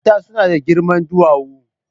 Mata suna da girma duwawu.